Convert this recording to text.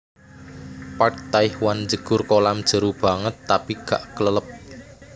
Park Tae hwan njegur kolam jeru banget tapi gak klelep